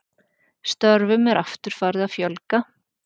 Störfum er aftur farið að fjölga